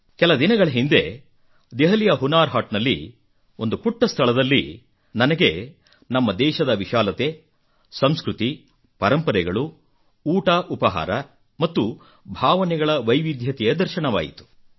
ಕೆಲ ದಿನಗಳ ಹಿಂದೆ ದೆಹಲಿಯ ಹುನರ್ ಹಾಟ್ ನಲ್ಲಿ ಒಂದು ಪುಟ್ಟ ಸ್ಥಳದಲ್ಲಿ ನನಗೆ ನಮ್ಮ ದೇಶದ ವಿಶಾಲತೆ ಸಂಸ್ಕೃತಿ ಪರಂಪರೆಗಳು ಊಟಉಪಹಾರ ಮತ್ತು ಭಾವನೆಗಳ ವೈವಿಧ್ಯತೆಯ ದರ್ಶನವಾಯಿತು